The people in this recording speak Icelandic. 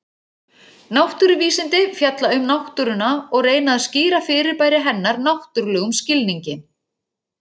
Náttúruvísindi fjalla um náttúruna og reyna að skýra fyrirbæri hennar náttúrlegum skilningi.